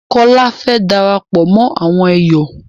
Kọ́́lá fẹ́ darapọ̀ mọ àwọn èyọ̀